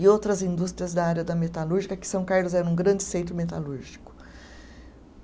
e outras indústrias da área da metalúrgica, que São Carlos era um grande centro metalúrgico.